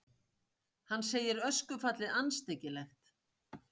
Hann segir öskufallið andstyggilegt